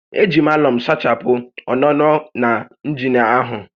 E ji m àlọ̀m sachapụ ọ́nụ́nọ́ na njina áhụ̀